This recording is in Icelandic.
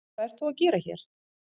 Hvað ert þú að gera hér?